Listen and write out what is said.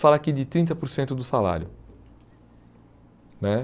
Fala aqui de trinta por cento do salário né.